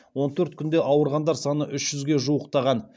он төрт күнде ауырғандар саны үш жүзге жуықтаған